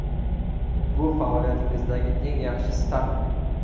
Bu faoliyatingizdagi eng yaxshi startmi?